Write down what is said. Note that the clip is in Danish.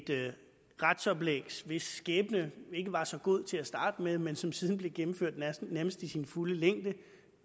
retsoplæg hvis skæbne ikke var så god til at starte med men som siden blev gennemført nærmest i sin fulde længde